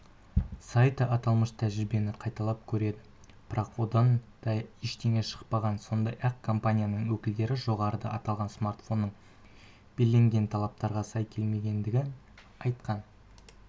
сайты аталмыш тәжірибені қайталап көреді бірақ одан да ештеңе шықпаған сондай-ақ компаниясының өкілдері жоғарыда аталған смартфонның белгіленген талаптарға сай келмегендігін айтқан